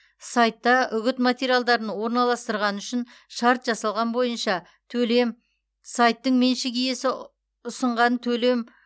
сайтта үгіт материалдарын орналастырғаны үшін жасалған шарт бойынша төлем сайттың меншік иесі ұсынған төлем